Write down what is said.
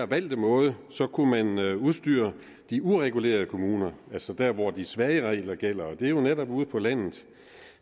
valgte måde kunne man udstyre de uregulerede kommuner altså der hvor de svage regler og gælder og det er jo netop ude på landet